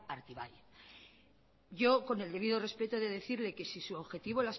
artibai yo con el debido respeto he de decirle que si su objetivo